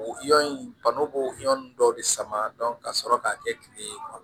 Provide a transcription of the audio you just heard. O yɔrɔ in bana b'o yɔrɔ nunnu dɔw de sama ka sɔrɔ k'a kɛ kile ye